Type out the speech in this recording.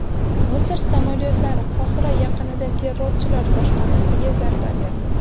Misr samolyotlari Qohira yaqinida terrorchilar boshpanasiga zarba berdi.